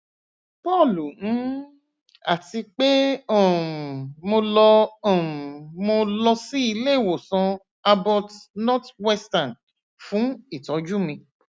paul mn ati pe um mo lọ um mo lọ si ileiwosan abbot northwestern fun itọju mi